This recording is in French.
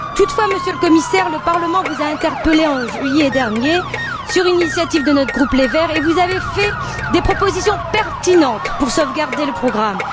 Toutefois, Monsieur le Commissaire, le Parlement vous a interpellé, en juillet dernier, sur une initiative de notre groupe, les Verts, et vous avez fait des propositions pertinentes pour sauvegarder le programme.